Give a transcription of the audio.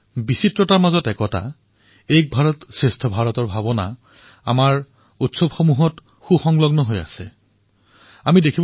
বিবিধতাৰ মাজত একতা এক ভাৰত শ্ৰেষ্ঠ ভাৰতৰ ভাৱনাৰ সুবাস আমাৰ উৎসৱত সমাহিত